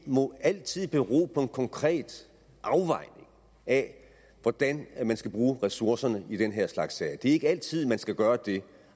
må altid bero på en konkret afvejning af hvordan man skal bruge ressourcerne i den her slags sager det er ikke altid man skal gøre det